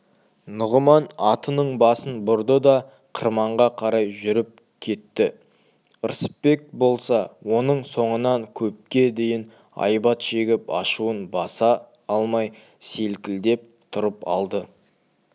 нұғыман атының басын бұрды да қырманға қарай жүріп кетті ырысбек болса оның соңынан көпке дейін айбат шегіп ашуын баса алмай селкілдеп тұрып алды